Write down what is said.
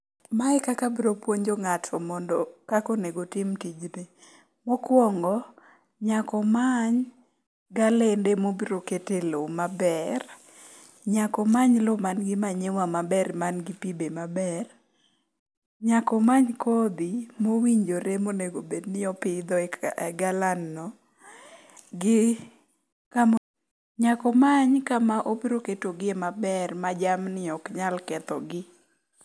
Mae e kaka abro puonjo ng'ato kaka onego otim tijni. Mokwongo, nyaka omany galende mobro kete lowo maber. Nyako many lowo manigi manyiwa maber, manigi pi be maber. Nyaka omany kodhi mowinjore monego bedni opidho e galanno, .Nyaka omany kama obro keto gi e maber ma jamni ok nyal kethogi.